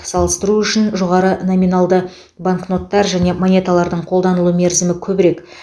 салыстыру үшін жоғары номиналдағы банкноттар және монеталардың қолданылу мерзімі көбірек